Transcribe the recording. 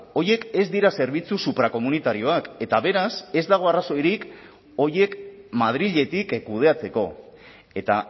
horiek ez dira zerbitzu suprakomunitarioak eta beraz ez dago arrazoirik horiek madriletik kudeatzeko eta